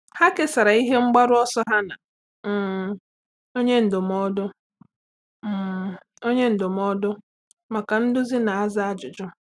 Há kèésárà ihe mgbaru ọsọ ha na um onye ndụmọdụ um onye ndụmọdụ màkà nduzi na ázá ájụ́jụ́.